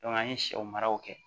an ye sɛw maraw kɛ